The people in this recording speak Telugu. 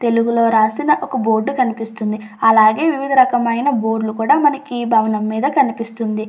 తెలుగు లో రాసిన ఒక బోర్డు కనిపిస్తున్నది అలాగే వివిధ రకమైన బోర్డులు కూడా మనకి ఈ భవనం మీద కనిపిస్తుంది.